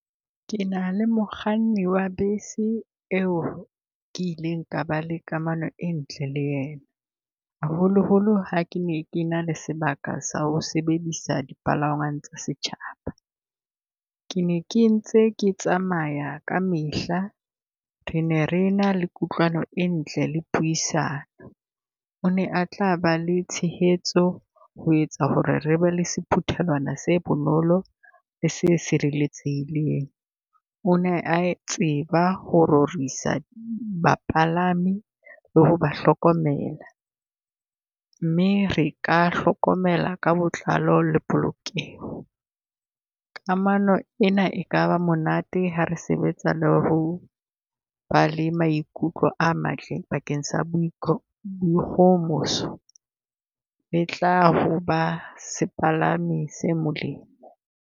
Ke na le mokganni wa bese eo ke ileng ka ba le kamano e ntle le yena, haholoholo ha ke ne ke na le sebaka sa ho sebedisa di palangwang tsa setjhaba. Ke ne ke ntse ke tsamaya kamehla, re ne re na le kutlwano e ntle le puisano. O ne a tla ba le tshehetso ho etsa ho re re be le sephuthelwana se bonolo, le se sireletsehileng. O ne a tseba ho rorisa bapalami le ho ba ba hlokomela, mme re ka hlokomela ka botlalo le polokeho. Kamano ena e ka ba monate ha re sebetsa le ho ba le maikutlo a matle bakeng sa boikgohomoso. Le tla ho ba sepalami se molemo.